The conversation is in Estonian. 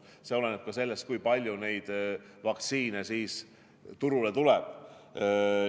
See oleneb ka sellest, kui palju vaktsiine turule tuleb.